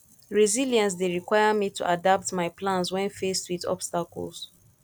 resilience dey require me to adapt my plans when faced with obstacles